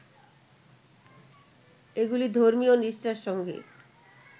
এগুলি ধর্মীয় নিষ্ঠার সঙ্গে